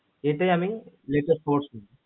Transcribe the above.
এটাই আমি net এ পড়ছি